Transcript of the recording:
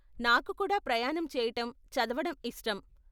నాకు కూడా ప్రయాణం చేయటం, చదవడం ఇష్టం.